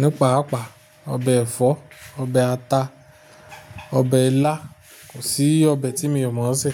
nípàápàá. Obe ẹ̀fọ́, ọbẹ ata, ọbẹ ilá, kò sí ọbẹ tí mi ò mọ̀ ọ́n sè.